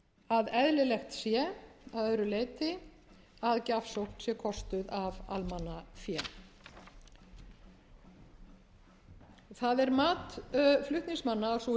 að eðlilegt sé að öðru leyti að gjafsókn sé kostuð af almannafé það er mat flutningsmanna að sú